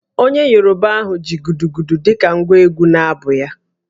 Onye Yoruba ahụ ji Gudugudu dị ka ngwa egwú n’abụ ya